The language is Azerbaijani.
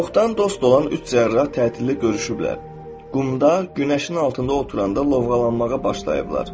Çoxdan dost olan üç cərrah tətildə görüşüblər, qumda günəşin altında oturanda lovğalanmağa başlayıblar.